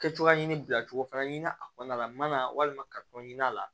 Kɛcogoya ɲini bilacogo fana ɲini na a kɔnɔna la n'a walima ka ɲin'a la